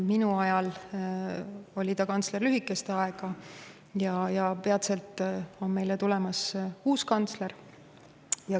Minu ajal oli ta kantsler lühikest aega ja peatselt tuleb meile uus kantsler.